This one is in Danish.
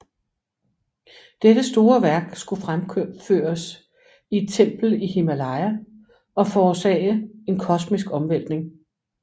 Dette store værk skulle fremføres i et tempel i Himalaya og forårsage en kosmisk omvæltning